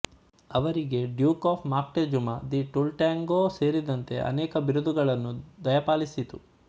ಅವರಿಗೆ duke of Moctezuma de Tultengo ಸೇರಿದಂತೆ ಅನೇಕ ಬಿರುದುಗಳನ್ನು ದಯಪಾಲಿಸಿತು